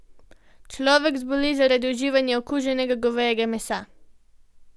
Človek zboli zaradi uživanja okuženega govejega mesa.